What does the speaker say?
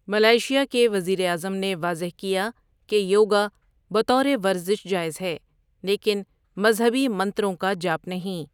Malaysia کے وزیراعظم نے واضح کیا کہ یوگا بطور ورزش جائز ہے لیکن مذہبی منتروں کا جاپ نہیں۔